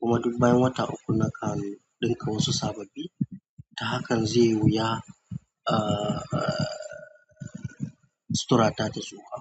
Kuma duk bayan wata uku nakan ɗinka wasu sababbi. Ta hakan zaiyi wuya ah. Sutura ta ta tsufa.